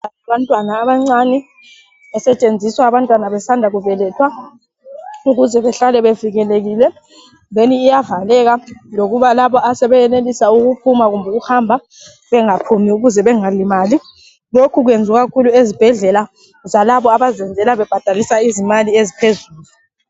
Umbheda wabantwana abancane osetshenziswa abantwana besanda kubelethwa ukuze behlale bevikelekile. Iyavaleka lokuba labo asebesenelisa ukuphuma lokuhamba bengaphumi ukuze bengalimali. Lokhu kwenziwa kakhulu ezibhedlela zalabo ababhadaliswa izimali eziphezulu.